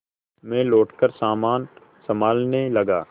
मैं लौटकर सामान सँभालने लगा